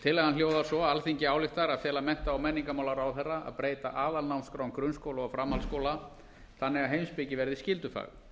tillagan hljóðar svo alþingi ályktar að fela mennta og menningarmálaráðherra að breyta aðalnámskrám grunnskóla og framhaldsskóla þannig að heimspeki verði skyldufag